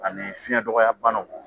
Ani fiɲɛ dɔgɔya banaw